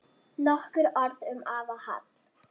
Nokkur orð um afa Hall.